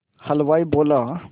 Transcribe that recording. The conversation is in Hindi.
हलवाई बोला